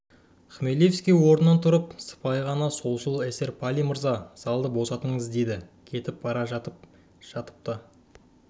хмелевский орнынан тұрып сыпайы ғана солшыл эсер палий мырза залды босатыңыз деді кетіп бара жатып та